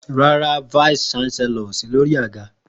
Ràrá, won òsí lòrí àgá.